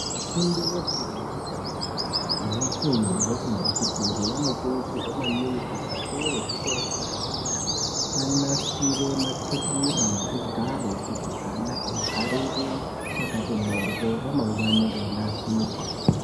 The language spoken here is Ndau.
Vafundi vefundo yekutanga nevafundi vefundo yechipiri vanokurudzirwa maningi kuti akuru ezvikora zvaozvo anasire matebura nezvigaro kuti ana abharire pakati mhoryo ramangwani reinasirwa.